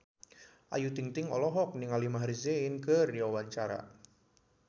Ayu Ting-ting olohok ningali Maher Zein keur diwawancara